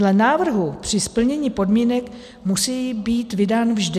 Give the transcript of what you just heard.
Dle návrhu při splnění podmínek musí být vydán vždy.